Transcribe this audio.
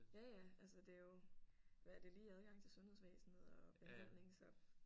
Ja ja altså det er jo hvad er det lige adgang til sundhedsvæsenet og behandling så